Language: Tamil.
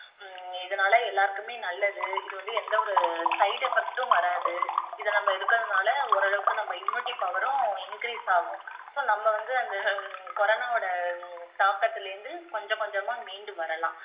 ஹம் இதனால எல்லாருக்குமே நல்லது இதுவந்து எந்தவொரு side effect உம் வராது இதை நம்ம எடுக்குறதுனால ஓரளவுக்கு நம்ம immunity power உம் increase ஆகும் so நம்ம வந்து அந்த corona வோட தாக்கத்துல இருந்து கொஞ்ச கொஞ்சமா மீண்டு வரலாம்